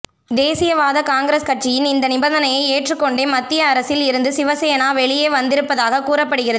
தேசியவாத காங்கிரஸ் கட்சியின் இந்த நிபந்தனையை ஏற்றுக் கொண்டே மத்திய அரசில் இருந்து சிவசேனா வெளியே வந்திருப்பதாக கூறப்படுகிறது